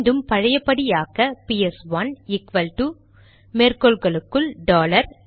மீண்டும் பழையபடி ஆக்க பிஎஸ்1 ஈக்வல்டு மேற்கோள்களுக்குள் டாலர்